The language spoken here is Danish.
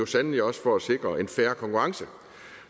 sandelig også for at sikre en fair konkurrence